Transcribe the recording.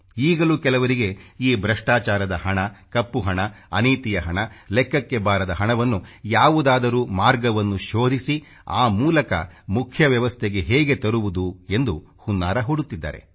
ಈಗಲೂ ಕೆಲವರಿಗೆ ಈ ಭ್ರಷ್ಟಾಚಾರದ ಹಣ ಕಪ್ಪು ಹಣ ಅನೀತಿಯ ಹಣ ಲೆಕ್ಕಕ್ಕೆ ಬಾರದ ಹಣವನ್ನು ಯಾವುದಾದರೂ ಮಾರ್ಗವನ್ನು ಶೋಧಿಸಿ ಆ ಮೂಲಕ ಮುಖ್ಯ ವ್ಯವಸ್ಥೆಗೆ ಹೇಗೆ ತರುವುದು ಎಂದು ಹುನ್ನಾರ ಹೂಡುತ್ತಿದ್ದಾರೆ